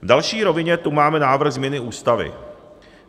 V další rovině tu máme návrh změny Ústavy.